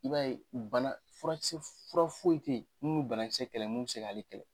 I b'a ye u bana furakisɛ fura foyi tɛ ye mun banakisɛ kɛlɛ nu tɛ se k'ale kɛlɛ.